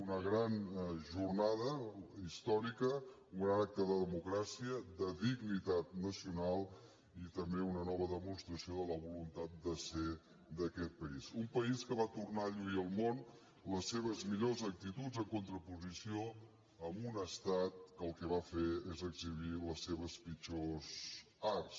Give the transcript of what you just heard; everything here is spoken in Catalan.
una gran jornada històrica un gran acte de democràcia de dignitat nacional i també una nova demostració de la voluntat de ser d’aquest país un país que va tornar a lluir al món les seves millors actituds en contraposició a un estat que el que va fer és exhibir les seves pitjors arts